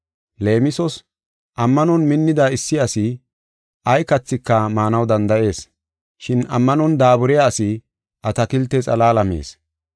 Leemisos, ammanon minnida issi asi ay kathika maanaw danda7ees. Shin ammanon daaburiya asi atakilte xalaala mees.